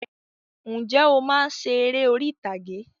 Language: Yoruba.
Ǹjẹ́ o máa ń ṣe eré orí ìtàgé?